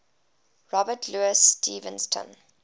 robert louis stevenson